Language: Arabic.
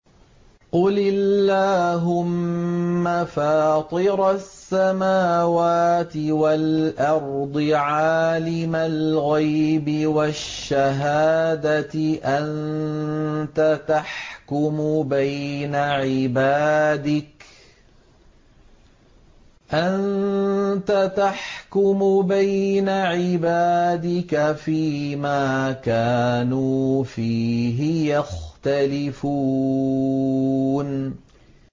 قُلِ اللَّهُمَّ فَاطِرَ السَّمَاوَاتِ وَالْأَرْضِ عَالِمَ الْغَيْبِ وَالشَّهَادَةِ أَنتَ تَحْكُمُ بَيْنَ عِبَادِكَ فِي مَا كَانُوا فِيهِ يَخْتَلِفُونَ